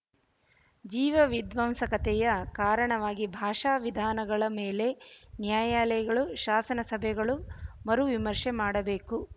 ಜೀವ ವಿಧ್ವಂಸಕತೆಯ ಕಾರಣವಾಗಿ ಭಾಷಾ ವಿಧಾನಗಳ ಮೇಲೆ ನ್ಯಾಯಲಯಗಳು ಶಾಸನ ಸಭೆಗಳು ಮರು ವಿಮರ್ಷೆ ಮಾಡಬೇಕು